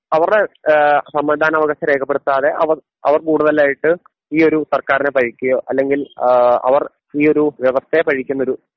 അവരുടെ ഏഹ് സമ്മതിദാന അവകാശം രേഖപ്പെടുത്താതെ അവർ അവർ കൂടുതലായിട്ട് ഈ ഒരു സർക്കാരിനെ പഴിക്കുകയോ അല്ലെങ്കിൽ ആ അവർ ഈ ഒരു വ്യവസ്ഥയെ പഴിക്കുന്നൊരു